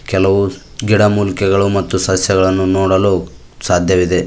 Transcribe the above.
ಕೆಲವು ಗಿಡಮೂಲಿಕೆಗಳು ಮತ್ತು ಸಸ್ಯಗಳನ್ನು ನೋಡಲು ಸಾಧ್ಯವಿದೆ.